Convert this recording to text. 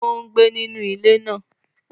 Ó ń gbé nínu ilé ńlá